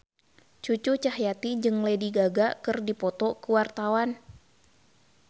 Cucu Cahyati jeung Lady Gaga keur dipoto ku wartawan